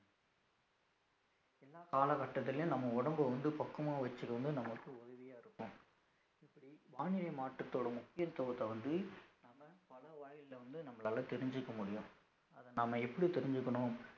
எல்லா காலகட்டத்திலயும் நம்ம உடம்ப வந்து பக்குவமா வச்சிக்க வந்து நமக்கு உதவியா இருக்கும் இப்படி வானிலை மாற்றத்தோட முக்கியத்துவத்த வந்து நாம பல வாயில்ல வந்து நம்மளால தெரிஞ்சுக்க முடியும் அத நாம எப்படி தெரிஞ்சுக்கணும்